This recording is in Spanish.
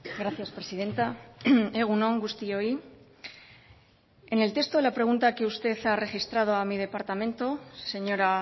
gracias presidenta egun on guztioi en el texto de la pregunta que usted ha registrado a mi departamento señora